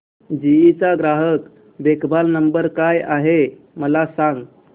GE चा ग्राहक देखभाल नंबर काय आहे मला सांग